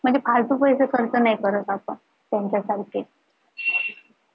म्हणजे फालतू पैसे खर्च नाही करत आपण कोणत्याच हलतीत